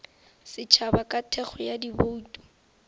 setšhaba ka thekgo ya dibouto